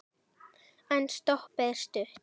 En stoppið er stutt.